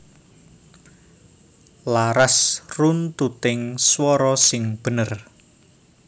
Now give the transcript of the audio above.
Laras runtuting swara sing bener